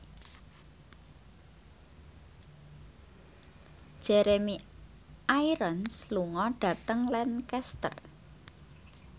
Jeremy Irons lunga dhateng Lancaster